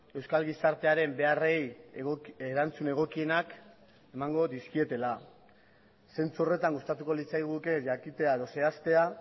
euskal gizartearen beharrei erantzun egokienak emango dizkietela zentzu horretan gustatuko litzaiguke jakitea edo zehaztea